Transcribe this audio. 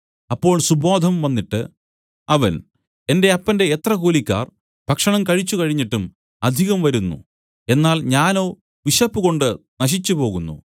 അപ്പോൾ സുബോധം വന്നിട്ട് അവൻ എന്റെ അപ്പന്റെ എത്ര കൂലിക്കാർ ഭക്ഷണം കഴിച്ചുകഴിഞ്ഞിട്ടും അധികം വരുന്നു എന്നാൽ ഞാനോ വിശപ്പുകൊണ്ട് നശിച്ചുപോകുന്നു